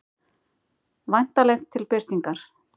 Væntanlegt til birtingar.